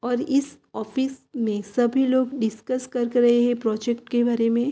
और इस ऑफिस में सभी लोग डिसकस कर रहे हैं प्रोजेक्ट के बारे में।